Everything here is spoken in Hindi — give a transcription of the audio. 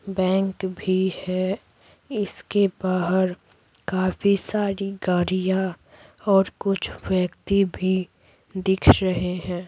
बैंक भी है इसके बाहर काफी सारी गाड़ियां और कुछ व्यक्ति भी दिख रहे हैं।